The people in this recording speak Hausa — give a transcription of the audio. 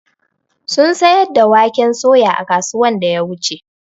sun siyar da waƙen soya a kasuwan da ya wuche.